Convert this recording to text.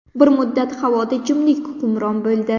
Bir muddat havoda jimlik hukmron bo‘ldi.